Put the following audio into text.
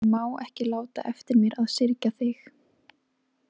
Ég má ekki láta eftir mér að syrgja þig.